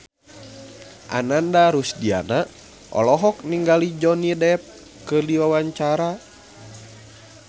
Ananda Rusdiana olohok ningali Johnny Depp keur diwawancara